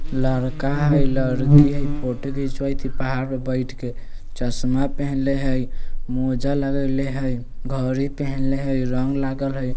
लड़का हई लड़की हई फोटो घिचवई थई पहाड़ में बैठ के चश्मा पेहेनले हई मोजा लगइले हई घड़ी पेहेनले हई रंग लागल हई --